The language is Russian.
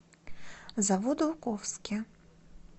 заводоуковске